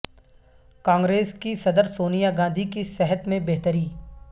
کانگریس کی صدر سونیا گاندھی کی صحت میں بہتری